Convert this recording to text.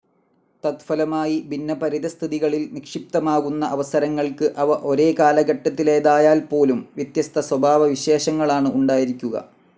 തത്ഫലമായി ഭിന്ന പരിതസ്ഥിതികളിൽ നിക്ഷിപ്തമാകുന്ന അവസരങ്ങൾക്ക്, അവ ഒരേ കാലഘട്ടത്തിലേതായാൽപ്പോലും, വ്യത്യസ്ത സ്വഭാവവിശേഷങ്ങളാണ് ഉണ്ടായിരിക്കുക.